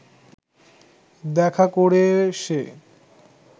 দেখা করে সে